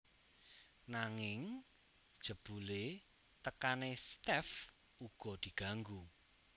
Nanging jebule tekane Steff uga diganggu